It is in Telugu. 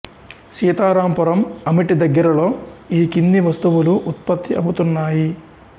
సీతారాంపురం అమిటి దగ్గరలో ఈ కింది వస్తువులు ఉత్పత్తి అవుతున్నాయి